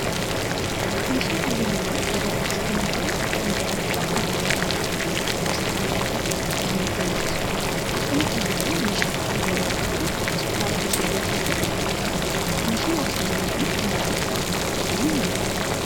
Meeshaa dhalli nama yeroo oksijiini dhabuu ittin jiraachuudhaf mana yaalatti ittin oksiijiini argatu kan nutti muldhisudha. Akkuma kanallee meeshaan kun yeroo baay'ee hospitaala gurguddaa keessatti kan argamudha. meeshaan oksiijiini kun maqaan isaa maal jedhamudhan beekama?